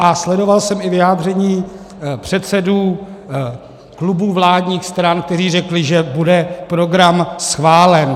A sledoval jsem i vyjádření předsedů klubů vládních stran, kteří řekli, že bude program schválen.